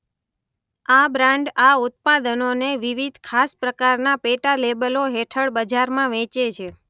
આ બ્રાન્ડ આ ઉત્પાદનોને વિવિધ ખાસ પ્રકારના પેટા લેબલો હેઠળ બજારમાં વેચે છે